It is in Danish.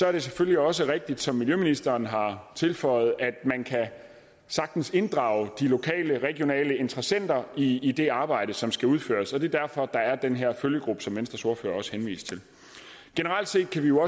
er det selvfølgelig også rigtigt som miljøministeren har tilføjet at man sagtens kan inddrage de lokale regionale interessenter i i det arbejde som skal udføres og det er derfor der er den her følgegruppe som venstres ordfører også henviste til generelt set kan vi jo